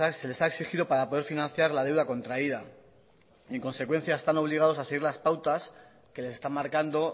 se les ha exigido para poder financiar la deuda contraída y en consecuencia están obligados a seguir las pautas que les está marcando